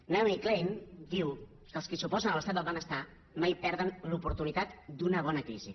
naomi klein diu que els qui s’opo sen a l’estat del benestar mai perden l’oportunitat d’una bona crisi